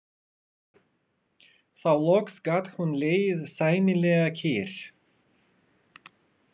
Þá loks gat hún legið sæmilega kyrr.